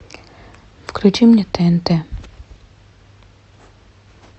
включи мне тнт